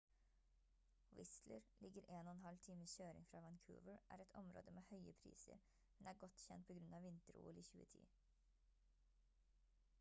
whistler ligger 1,5 times kjøring fra vancouver er et område med høye priser men er godt kjent på grunn av vinter-ol i 2010